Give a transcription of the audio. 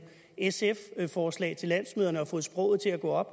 sf forslag til landsmøderne og har fået sproget til at gå op